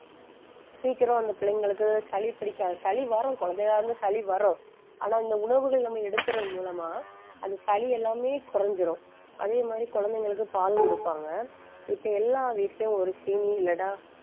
சீக்கிரம் அந்த பிள்ளைங்களுக்கு சளி பிடிக்காது, சளி வரும். குழந்தையிலிருந்து சளி வரும். ஆனா, இந்த உணவுகள் நம்ம எடுக்குறது மூலமா அந்த சளி எல்லாமே குறைஞ்சிரும். அதே மாதிரி, குழந்தைங்களுக்கு பால் கொடுப்பாங்க இப்ப எல்லா வீட்டுலயும் ஒரு சீனி இல்லனா,